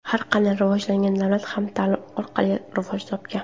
Har qanday rivojlangan davlat ham ta’lim orqali rivoj topgan.